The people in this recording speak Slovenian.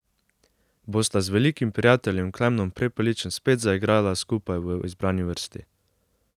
Bosta z velikim prijateljem Klemnom Prepeličem spet zaigrala skupaj v izbrani vrsti?